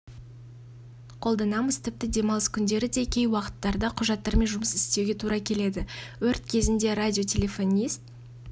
қолданамыз тіпті демалыс күндері де кей уақыттарда құжаттармен жұмыс істеуге тура келеді өрт кезінде радиотелефонист